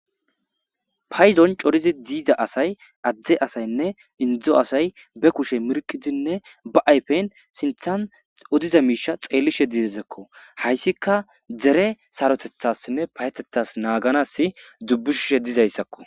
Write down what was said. Payzon corizi diiza asay adzde asaynne indzo asay be kushe mirqizinne ba ayfeyn sinthan odiza miisha xeellishe didezekko hayssika dzere sarotethassinne payetethas naaganas dzubbushshe dizayssakko.